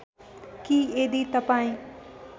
कि यदि तपाईँ